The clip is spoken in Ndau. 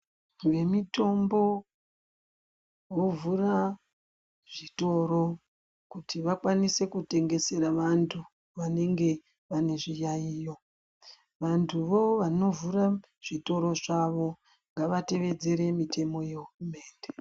Vemitombo vovhura zvitoro kuti vakwanise kutengesera vantu vanenga vane zviyaiyo vantuvo vanovhura zvitoro zvavo ngavatevedzere mutemo yehurumende.